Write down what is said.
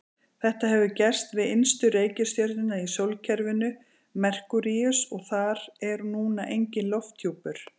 Þetta hefur gerst við innstu reikistjörnuna í sólkerfinu, Merkúríus, og þar er núna enginn lofthjúpur.